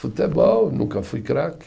Futebol, nunca fui craque.